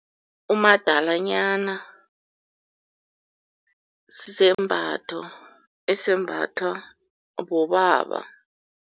Umadanyana sisembatho esembathwa bobaba.